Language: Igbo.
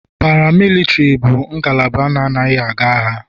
Paramilitari bụ ngalaba na-anaghị aga agha.